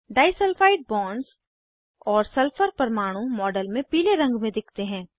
disulphide bonds और sulphur परमाणु model में पीले रंग में दिखते हैं